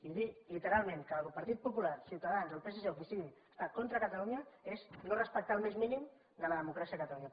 i dir literalment que el partit popular ciutadans el psc o qui sigui està contra catalunya és no respectar el més mínim de la democràcia a catalunya